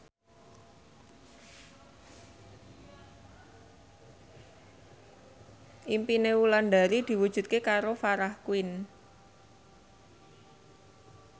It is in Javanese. impine Wulandari diwujudke karo Farah Quinn